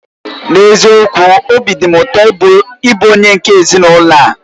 N'eziokwu! Obi dị m ụtọ nke ukwuu ịbụ onye nke ezinụlọ a.